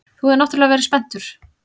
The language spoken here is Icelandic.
Þú hefur náttúrlega verið spenntur.